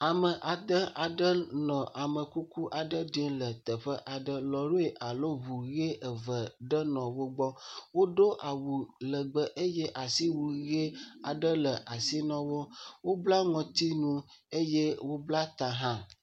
Ame ade aɖe nɔ amekuku aɖe ɖim le teƒe aɖe, lɔ̃ri alo ŋu ʋe eve ɖe nɔ wo gbɔ, woɖo awu legbe eye asiwu ʋe aɖe le asi na wo. Wobla ŋɔtinu eye wobla ta hã.